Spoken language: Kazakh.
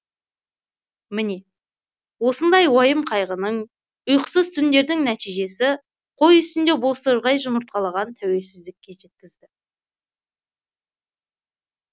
міне осындай уайым қайғының ұйқысыз түндердің нәтижесі қой үстіне бозторғай жұмыртқалаған тәуелсіздікке жеткізді